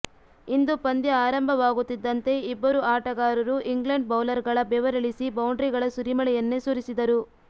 ಇಂದು ಪಂದ್ಯ ಆರಂಭವಾಗುತ್ತಿದ್ದಂತೆ ಇಬ್ಬರು ಆಟಗಾರರು ಇಂಗ್ಲೆಂಡ್ ಬೌಲರ್ಗಳ ಬೆವರಿಳಿಸಿ ಬೌಂಡ್ರಿಗಳ ಸುರಿಮಳೆಯನ್ನೇ ಸುರಿಸಿದರು